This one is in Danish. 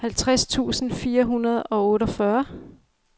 halvtreds tusind fire hundrede og otteogfyrre